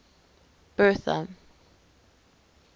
bertha